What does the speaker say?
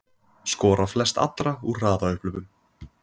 Skora flest allra úr hraðaupphlaupum